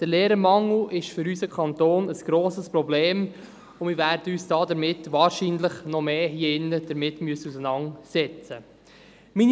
Der Lehrermangel ist für unseren Kanton ein grosses Problem, und wir werden uns hier wahrscheinlich noch vermehrt damit auseinandersetzen müssen.